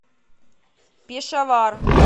пешавар